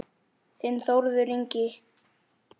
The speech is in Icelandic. Þinn Þórður Ingi.